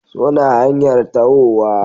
suna hanyar tahowa